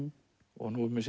og nú er meira